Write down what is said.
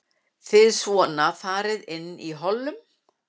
Þið svona farið inn í hollum?